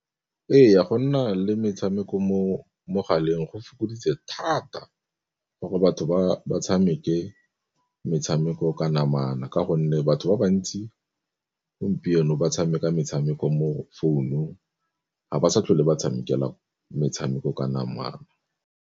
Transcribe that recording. Ee, go nna le metshameko mo megaleng go fokoditse thata gore batho ba tshameke metshameko ka namana, ka gonne batho ba ba ntsi gompieno ba tshameka metshameko mo founung ga ba sa tlhole ba tshamekela metshameko ka namana.